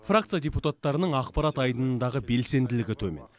фракция депутаттарының ақпарат айдынындағы белсенділігі төмен